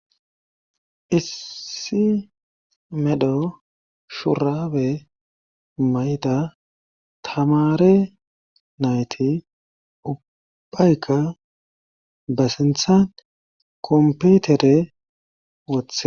issi medho shurabe mayda tamare nayti ubbayka ba sintha komputere wothe